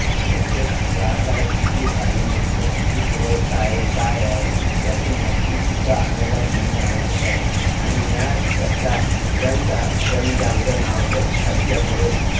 प्रत्येक ग्राहकाला किती धान्य मिळतो किती पुरवठा आहे काय आहे ह्याची माहिती मिळणे सुद्धा आवश्यक आहे आणि ह्या चर्चा जन जागरानावश्यक असल्या मुळे